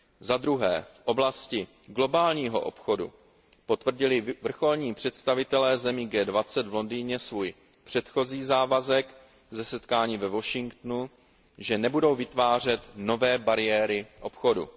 Za druhé, v oblasti globálního obchodu potvrdili vrcholní představitelé zemí G20 v Londýně svůj předchozí závazek ze setkání ve Washingtonu, že nebudou vytvářet nové bariéry obchodu.